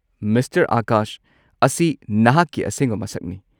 Mister Akash ꯑꯁꯤ ꯅꯍꯥꯛꯀꯤ ꯑꯁꯦꯡꯕ ꯃꯁꯛꯅꯤ꯫